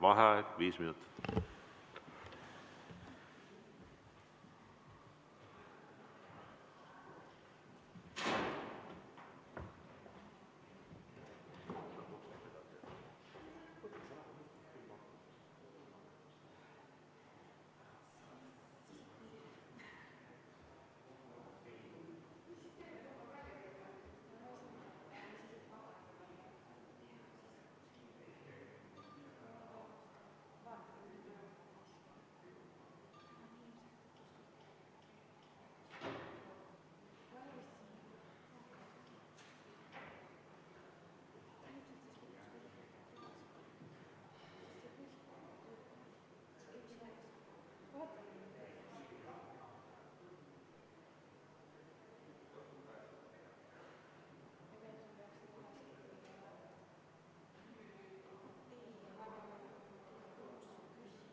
Vaheaeg viis minutit.